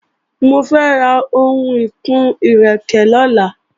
Mo fẹ́ ra ohun ìkun-ẹ́rẹ̀kẹ́ lọ́la